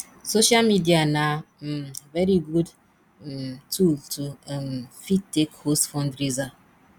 social media na um very good um tool to um fit take host fundraiser